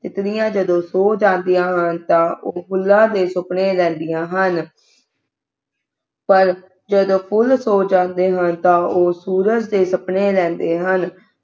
ਤਿਤੱਲੀਆਂ ਜਦੋਂ ਸੋ ਜਾਂਦੀਆਂ ਹਨ ਤਾਂ ਉਹ ਫੁੱਲਾਂ ਦੇ ਸੁਪਨੇ ਲੈਂਦੀਆਂ ਹਨ ਪਰ ਜਦੋਂ ਫੁਲ ਸੋ ਜਾਂਦੇ ਹਨ ਤਾਂ ਉਹ ਸੂਰਜ ਦੇ ਸੁਪਨੇ ਲੈਂਦੇ ਹਨ